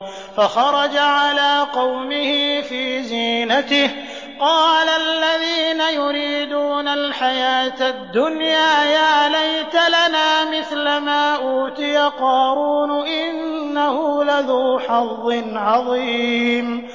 فَخَرَجَ عَلَىٰ قَوْمِهِ فِي زِينَتِهِ ۖ قَالَ الَّذِينَ يُرِيدُونَ الْحَيَاةَ الدُّنْيَا يَا لَيْتَ لَنَا مِثْلَ مَا أُوتِيَ قَارُونُ إِنَّهُ لَذُو حَظٍّ عَظِيمٍ